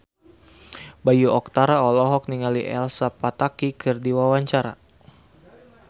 Bayu Octara olohok ningali Elsa Pataky keur diwawancara